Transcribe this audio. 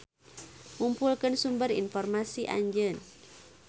Ngumpulkeun sumber informasi Anjeun.